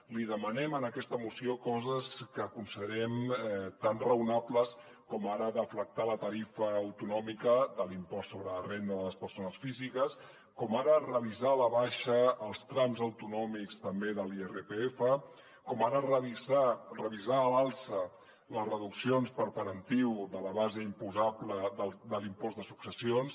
li demanem en aquesta moció coses que considerem tan raonables com ara deflactar la tarifa autonòmica de l’impost sobre la renda de les persones físiques com ara revisar a la baixa els trams autonòmics també de l’irpf com ara revisar a l’alça les reduccions per parentiu de la base imposable de l’impost de successions